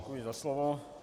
Děkuji za slovo.